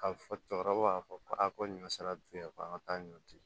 Ka fɔ cɛkɔrɔba b'a fɔ a ko ɲɔ sera tuya ka taa ɲɔti